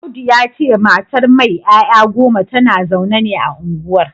Audu ya ce matar mai ‘ya’ya goma tana zaune ne a unguwar